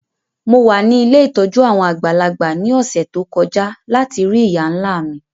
Mo wa ni ilé ìtójú àwon àgbàlagbà ni ọ̀ṣẹ̀ to kọja lati rii ìyá-nla mi.